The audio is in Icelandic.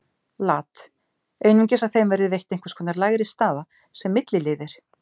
Lat. Einungis að þeim verði veitt einhvers konar lægri staða, sem milliliðir.